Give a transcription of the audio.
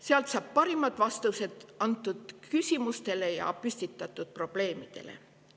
Sealt saab parimad vastused antud küsimustele ja püstitatud probleemidele.